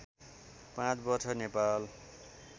पाँच वर्ष नेपाल